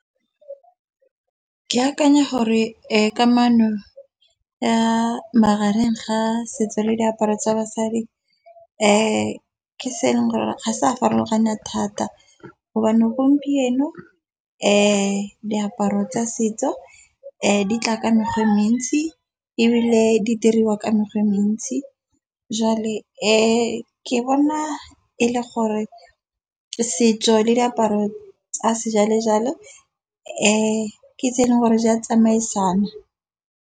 Ke akanya gore kamano ya magareng ga setso le diaparo tsa basadi, ke se eleng gore ga sa farologana thata gobane gompieno diaparo tsa setso di tla ka mekgwa e mentsi ebile di diriwa ka mekgwa e mentsi. Jwale ke bona e le gore setso le diaparo tsa sejwale jalo ke tse e leng gore di a tsamaisana.